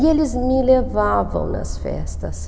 E eles me levavam nas festas.